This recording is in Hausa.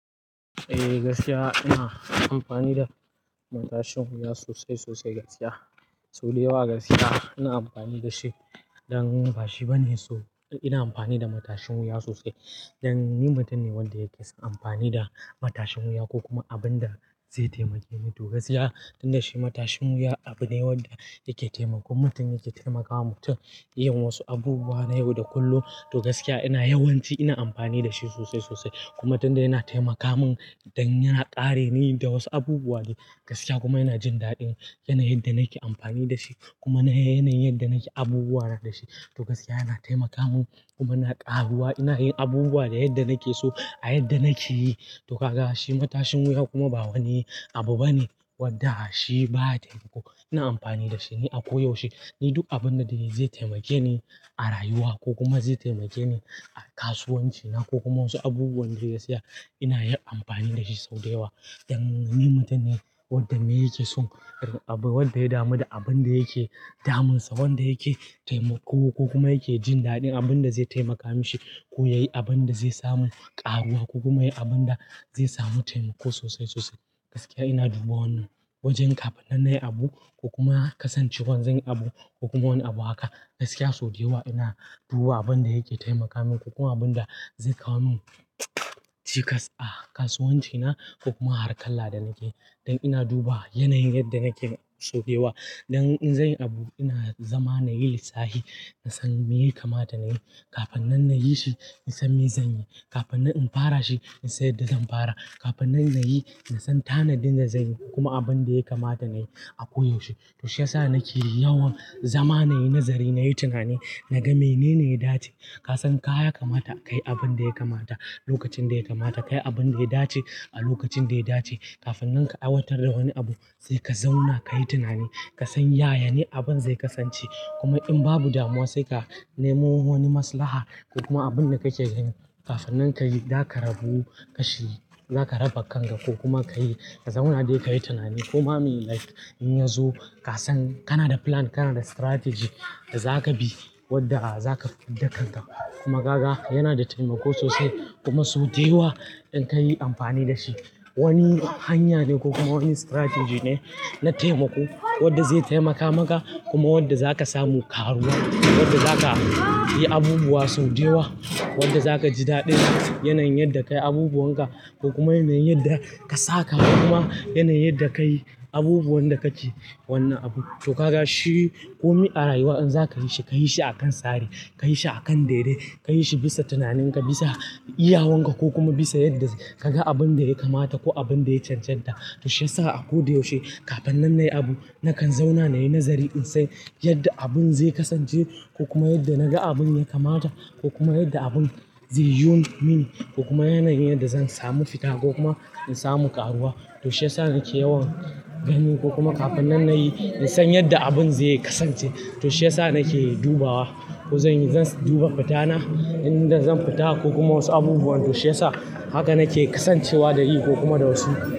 Eh gaskiya ina amfani da matashin wuya sosai sosai gaskiya. Sau da yawa gaskiya ina amfani da shi. Dan bashi bane so ina amfani da matashin wuya sosai. Dan ni mutum ne wanda yake son amfani da matashin wuya ko kuma abin da zai taimake mu. To gaskiya tunda shi matashin wuya abu ne wanda yake taimakon mutum, yake taimakawa mutum yin wasu abubuwa na yau da kullum. To gaskiya ina yawanci ina amfani da shi sosai sosai kuma tunda yana taimaka mun dan yana kare ni da wasu abubuwa ne gaskiya kuma yana jin daɗin yanayin yadda nake amfani da shi kuma yanayin yadda nake abubuwa da shi. To gaskiya yana taimaka mun kuma na ƙaruwa ina yin abubuwa da yadda nake so a yadda nake yi. To kaga shi matashin wuya kuma ba wani abu bane wanda shi ba taimako. Ina amfani da shi ne a ko yaushe. Ni duk abun da zai taimake ni a rayuwa ko kuma zai taimake ni a kasuwanci na ko kuma wasu abubuwan da gaskiya ina yin amfani da shi sau da yawa. Dan ni mutum ne wanda me yake son wanda ya damu da abun da yake damunsa, wanda yake taimako ko kuma yake jin daɗin abun da zai taimaka mishi. Ko yayi abun da zai samu ƙaruwa ko kuma yayi abun da zai samu taimako sosai sosai. Gaskiya ina duba wannan wajen kafin na yi abu ko kuma kasancewar zan yi abu ko kuma wani abu haka gaskiya sau da yawa ina duba abun da yake taimaka mun ko kuma abun da zai kawo mun cikas a kasuwanci na ko kuma a harkala da nake. Dan ina duba yanayin yadda nake so da yawa. Dan in zan yi abu ina zama nayi lissafi, nasan me yake mata nayi. Kafin nan na yi shi, nasan me zan yi. Kafin nan in fara shi, nasan yadda zan fara. Kafin nan na yi, nasan tanadin da zanyi kuma abin da yaka mata nayi a koyaushe. To shiyasa nake yawan zama nayi nazari, nayi tunani, naga menene ya dace. Kasan ka yaka mata kayi abun da yaka mata lokacin da yaka mata. Kayi abun da ya dace a lokacin da ya dace. Kafin nan ka aiwatar da wani abu sai ka zauna kayi tunani, kasan yaya ne abun zai kasance kuma in babu damuwa sai ka nemo wani maslaha ko kuma abun da kake ganin kafin nan kayi, zaka rabu kashi, zaka raba kanka ko kuma kayi. Ka zauna dai kayi tunani. Ko ma me like in yazo kasan kana da plan, kana da strategy da zaka bi wadda zaka dakka. Kuma kaga yana da taimako sosai kuma sau da yawa in ka yi amfani da shi wani hanya ne ko kuma wani strategy ne na taimako wadda zai taimaka maka kuma wadda zaka samu ƙaruwa, wadda zaka yi abubuwa sau da yawa, wadda zaka ji daɗin yanayin yanda kayi abubunka ko kuma yanayin yadda ka saka kuma yanayin yadda kayi abubuwan da kake wannan abu. To kaga shi ko me a rayuwa in zaka yi shi, kayi shi a kan tsari, kayi shi a kan daidai, kayi shi bisa tunaninka, bisa iyawanka ko kuma bisa yadda kaga abun da ya ka mata ko abun da ya canja ta. To shiyasa a koyaushe kafin nan nayi abu nakan zauna nayi nazari in san yadda abun zai kasance ko kuma yadda naga abun yaka mata ko kuma yadda abun zai yiwu mini ko kuma yanayin yadda zan samu fita ko kuma in samu ƙaruwa. To shiyasa nake yawan gani ko kuma kafin nan nayi, in san yadda abun zai kasance. To shiyasa nake dubawa ko zan duba fitana idan zan fita ko kuma wasu abubuwan. To shiyasa haka nake kasancewa da yi ko kuma da wasu.